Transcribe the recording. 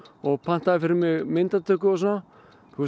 og pantaði fyrir mig myndatöku og svona